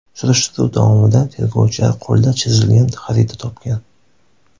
Surishtiruv davomida tergovchilar qo‘lda chizilgan xarita topgan.